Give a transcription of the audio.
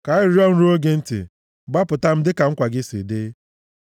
Ka arịrịọ m ruo gị ntị; gbapụta m dịka nkwa gị si dị.